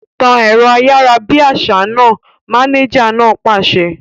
Tan ẹ̀rọ ayárabíàṣá náà! Mánéjà náà pàṣẹ